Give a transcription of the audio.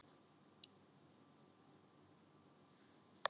Mynd: Fuglar á Vestfjörðum